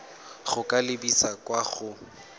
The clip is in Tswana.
go ka lebisa kwa go